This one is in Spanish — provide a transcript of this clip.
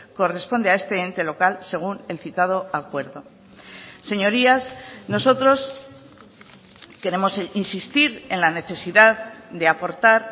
corresponde a este ente local según el citado acuerdo señorías nosotros queremos insistir en la necesidad de aportar